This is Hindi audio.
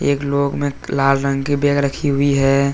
एक लोग में लाल रंग की बैग रखी हुई है।